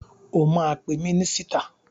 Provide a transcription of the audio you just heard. O máa pe mínísítà.